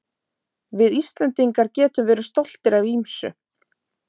Við Íslendingar getum verið stoltir af ýmsu.